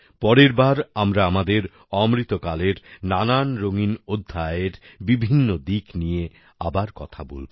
পরের বার আমরা আমাদের অমৃতকালের নানান রঙ্গিন অধ্যায় বিভিন্ন দিক নিয়ে আবার কথা বলব